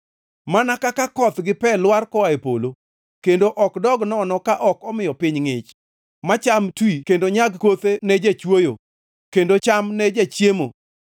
Mana kaka koth gi pe lwar koa e polo, kendo ok dog nono ka ok omiyo piny ngʼich, ma cham twi kendo nyag kothe ne jachwoyo, kendo cham ne jachiemo,